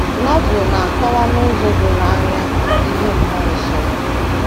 Novel na - akọwa n’ụzọ doro anya ihe mmụọ nsọ bụ.